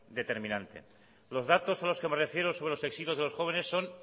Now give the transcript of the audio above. determinante los datos a los que me refiero sobre los exilios de los jóvenes son